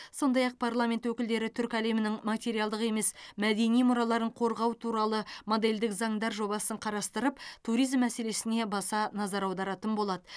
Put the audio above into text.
сондай ақ парламент өкілдері түркі әлемінің материалдық емес мәдени мұраларын қорғау туралы модельдік заңдар жобасын қарастырып туризм мәселесіне баса назар аударатын болады